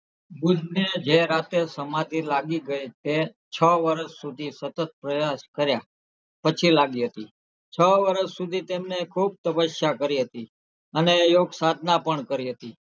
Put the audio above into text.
બુદ્ધને જે રાતે સમાધિ લાગી ગયેલ તે છો વર્ષ સુધી સતત પ્રયાસ કર્યા પછી લાગી હતી છો વર્ષ સુધી તેમને ખુબ તપસ્યા કરી હતી અને યોગસાધના પણ કરી હતી.